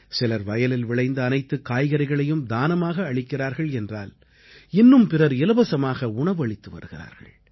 சிலர் வயலில் விளைந்த அனைத்துக் காய்கறிகளையும் தானமாக அளிக்கிறார்கள் என்றால் இன்னும் பிறர் இலவசமாக உணவு அளித்து வருகிறார்கள்